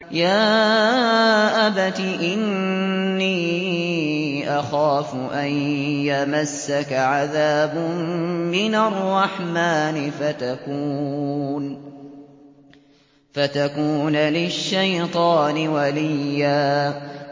يَا أَبَتِ إِنِّي أَخَافُ أَن يَمَسَّكَ عَذَابٌ مِّنَ الرَّحْمَٰنِ فَتَكُونَ لِلشَّيْطَانِ وَلِيًّا